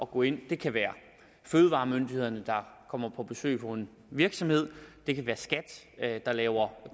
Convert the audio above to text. gå ind det kan være fødevaremyndighederne der kommer på besøg på en virksomhed det kan være skat der laver